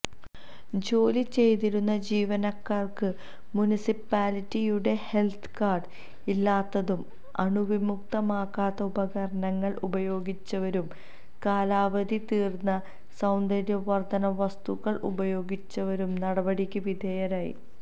ജോലി ചെയ്തിരുന്ന ജീവനക്കാര്ക്ക് മുനിസിപാലിട്ടിയുടെഹെല്ത്ത് കാര്ഡ് ഇല്ലാത്തതും അണുവിമുക്തമാക്കാത്ത ഉപകരണങ്ങള് ഉപയോഗിച്ചവരും കാലാവധി തീര്ന്ന സൌന്ദര്യവര്ധകവസ്തുക്കള് ഉപയോഗിച്ചവരും നടപടിക്ക് വിധേയരായി